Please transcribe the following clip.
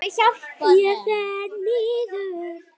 Ég fer niður.